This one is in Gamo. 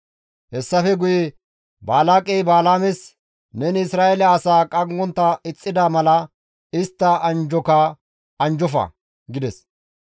Hessafe guye Balaaqey Balaames, «Neni Isra7eele asaa qanggontta ixxida mala istta anjjoka anjjofa!» gides.